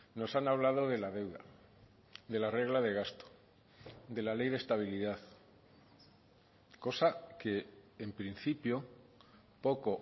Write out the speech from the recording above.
nos han hablado de la deuda de la regla de gasto de la ley de estabilidad cosa que en principio poco